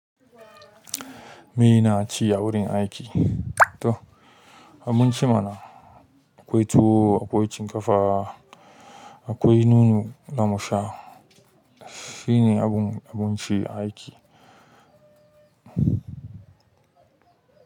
Me na ci a wurin aiki? To abun ci mana akwai tuwo, akwai shinkafa, akwai nono za musha. Shine abun, abun ci aiki.